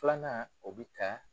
Filanan o bi ta